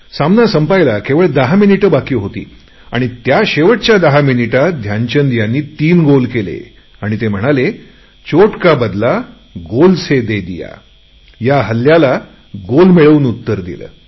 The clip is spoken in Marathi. सामना संपायला केवळ दहा मिनिटे बाकी होती आणि त्या शेवटच्या दहा मिनिटात ध्यानचंद यांनी तीन गोल केले आणि म्हणाले दुखापतीचे उत्तर गोल करुन दिले